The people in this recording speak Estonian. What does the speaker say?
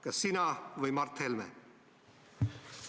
Kas sina või Mart Helme?